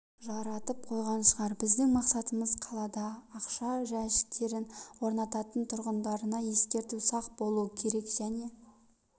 жаратып қойған шығар біздің мақсатымыз қалада ақша жәшіктерін орнатататын тұрғындарына ескерту сақ болу керек және